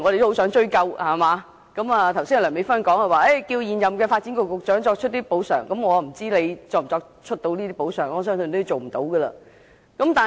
梁美芬議員剛才要求現任發展局局長作出補償，我不知道他能否做到，相信他應該做不到。